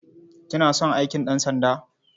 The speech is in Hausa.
Kina son aikin ɗansanda?